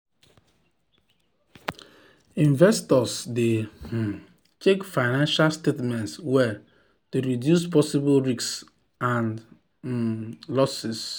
investors dey um check financial statements well to reduce possible risks and um losses